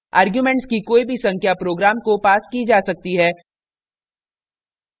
* arguments की कोई भी संख्या program को passed की जा सकती है